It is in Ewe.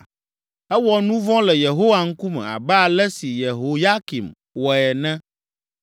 Ewɔ nu vɔ̃ le Yehowa ŋkume, abe ale si Yehoyakim wɔe ene.